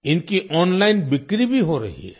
इनकी ओनलाइन बिक्री भी हो रही है